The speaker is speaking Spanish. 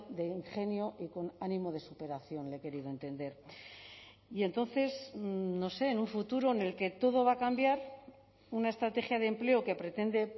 de ingenio y con ánimo de superación le he querido entender y entonces no sé en un futuro en el que todo va a cambiar una estrategia de empleo que pretende